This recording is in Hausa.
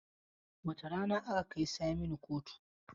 Wace rana aka kai Saminu kotu?